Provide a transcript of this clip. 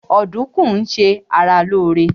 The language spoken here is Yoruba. Ọdùkún ń ṣe ara lóóre